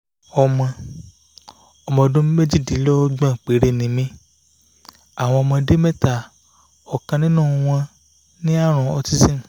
ọmọ ọmọ ọdún méjìdínlọ́gbọ̀n péré ni mi àwọn ọmọdé mẹ́ta ọ̀kan nínú wọn ní àrùn autism